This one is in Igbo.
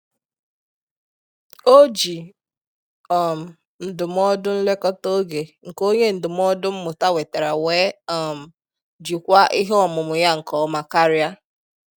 Oji um ndụmọdụ nlekọta oge nke onye ndụmọdụ mmụta wetara wee um jikwaa ihe ọmụmụ ya nke ọma karia